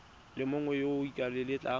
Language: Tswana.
le mongwe yo o ikaelelang